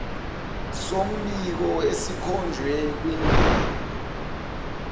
sombiko esikhonjwe kwindima